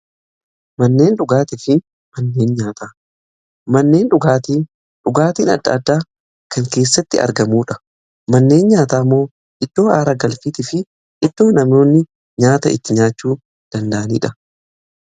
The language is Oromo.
manneen dhugaatii dhugaatiin adda adda kan keessatti argamuudha. manneen nyaataa immoo iddoo haara galfii fi iddoo namoonni nyaata itti nyaachuu danda'aniidha.